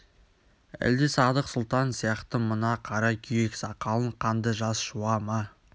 әлде садық сұлтан сияқты мына қара күйек сақалын қанды жас жуа ма